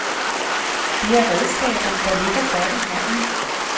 Det er redskaber, der ligger godt i hånden.